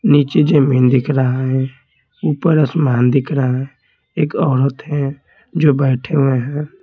नीचे जमीन दिख रहा है ऊपर आसमान दिख रहा है एक औरत है जो बैठे हुए हैं।